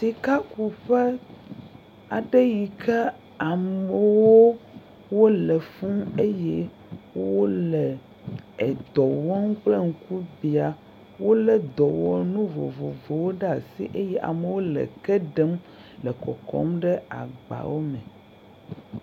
Sikakuƒe aɖe yike amewo wole fuu eye wole edɔ wɔm kple ŋkubia, wolé dɔwɔnu vovovowo ɖe asi eye amewo le eke ɖem le kɔkɔm ɖe agba aɖe me.